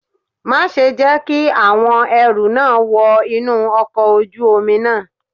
Má ṣe jẹ́ kí àwọn ẹrú náà wọ inú ọkọ̀ ojú omi náà.